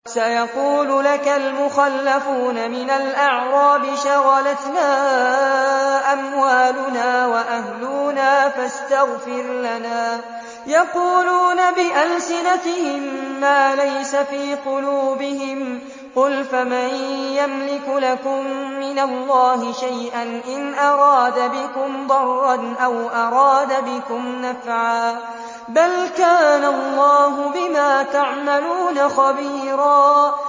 سَيَقُولُ لَكَ الْمُخَلَّفُونَ مِنَ الْأَعْرَابِ شَغَلَتْنَا أَمْوَالُنَا وَأَهْلُونَا فَاسْتَغْفِرْ لَنَا ۚ يَقُولُونَ بِأَلْسِنَتِهِم مَّا لَيْسَ فِي قُلُوبِهِمْ ۚ قُلْ فَمَن يَمْلِكُ لَكُم مِّنَ اللَّهِ شَيْئًا إِنْ أَرَادَ بِكُمْ ضَرًّا أَوْ أَرَادَ بِكُمْ نَفْعًا ۚ بَلْ كَانَ اللَّهُ بِمَا تَعْمَلُونَ خَبِيرًا